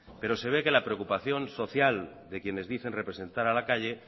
pero se ve que la preocupación social de quienes dicen representar a la calle